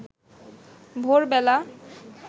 ভোরবেলা